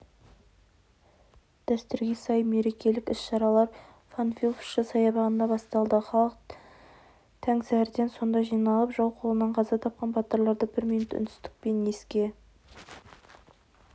дәстүрге сай мерекелік іс-шаралар панфиловшы саябағында басталды халық тәң сәріден сонда жиналып жау қолынан қаза тапқан батырларды бір минут үнсіздікпен еске